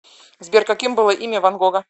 сбер каким было имя ван гога